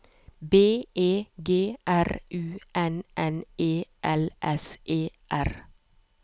B E G R U N N E L S E R